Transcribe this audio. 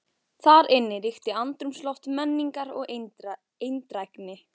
Þar inni ríkti andrúmsloft menningar og eindrægni.